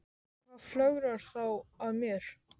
Og hvað flögrar þá að mér?